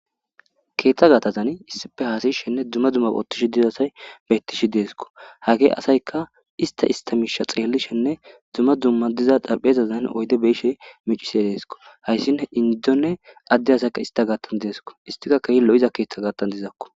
keeththa gaatazan issife haasishenne dumma dumma oottish diza asay bettishi deesko hage asayka ista istamiisha xeellishenne dumma dumma diza dhaphezazan oyde beishe micise deesko hayssin indonne adde asaykka ista gaattan deesko istika kehilo7iza keeththa gaattan dizakko